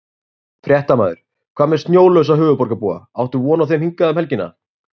Fréttamaður: Hvað með snjólausa höfuðborgarbúa, áttu von á þeim hingað um helgina?